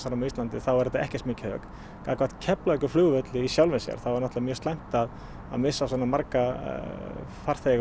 á Íslandi er þetta ekki mikið högg gagnvart Keflavíkurflugvelli í sjálfu sér þá er mjög slæmt að að missa svona marga farþega